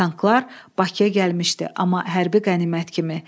Tanklar Bakıya gəlmişdi, amma hərbi qənimət kimi.